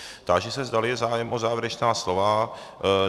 Táži se, zdali je zájem o závěrečná slova.